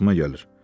Xoşuma gəlir.